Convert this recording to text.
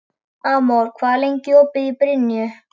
Amor, hvað er lengi opið í Brynju?